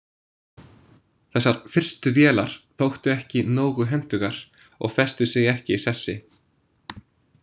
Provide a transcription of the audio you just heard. Þessar fyrstu vélar þóttu ekki nógu hentugar og festu sig ekki í sessi.